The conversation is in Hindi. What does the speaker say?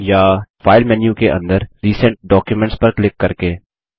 या फाइल मेन्यु के अंदर रिसेंट डॉक्यूमेंट्स पर क्लिक करके